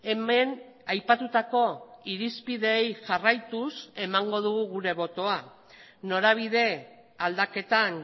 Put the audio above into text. hemen aipatutako irizpideei jarraituz emango dugu gure botoa norabide aldaketan